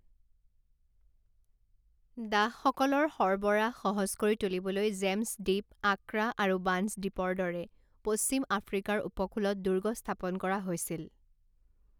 দাসসকলৰ সৰবৰাহ সহজ কৰি তুলিবলৈ জেম্ছ দ্বীপ, আক্ৰা আৰু বাঞ্চ দ্বীপৰ দৰে পশ্চিম আফ্ৰিকাৰ উপকূলত দুৰ্গ স্থাপন কৰা হৈছিল।